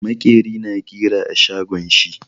Makeri na ƙira a shago shi.